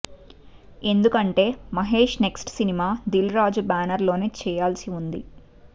ఎందుకంటే Mahesh next cinema Dil Raju banner లోనే చేయాల్సి ఉంది